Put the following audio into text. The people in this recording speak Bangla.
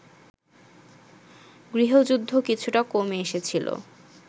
গৃহযুদ্ধ কিছুটা কমে এসেছিল